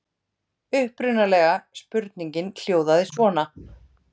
Upprunalega spurningin hljóðaði svona: